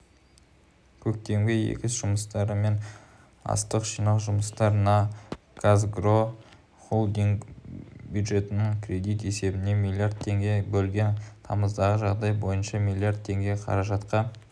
көктемгі егіс жұмыстары мен астық жинау жұмыстарына қазагро холдингі бюджеттік кредит есебінен млрд теңге бөлген тамыздағы жағдай бойынша млрд теңге қаражатқа